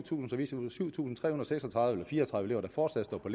tusind tre hundrede og fire og tredive elever der fortsat står på